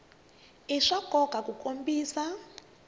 i swa nkoka ku kombisa